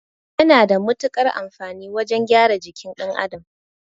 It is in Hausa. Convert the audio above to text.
Yana da mutukar amfani wajan gyara jikin ɗan Adam